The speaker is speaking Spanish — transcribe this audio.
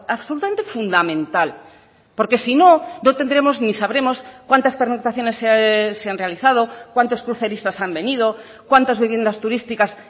absolutamente fundamental porque si no no tendremos ni sabremos cuántas pernoctaciones se han realizado cuántos cruceristas han venido cuántas viviendas turísticas